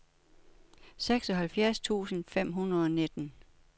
seksoghalvfjerds tusind fem hundrede og nitten